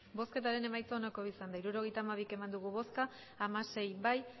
geldiunea emandako botoak hirurogeita hamabi bai hamasei ez